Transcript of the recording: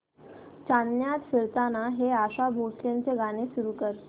चांदण्यात फिरताना हे आशा भोसलेंचे गाणे सुरू कर